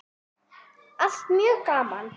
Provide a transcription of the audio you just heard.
Allt mjög gaman.